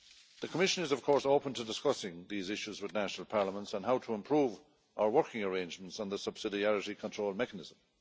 The Commission is open to discussing these issues with national parliaments on how to improve our working arrangements on the subsidiarity control mechanism.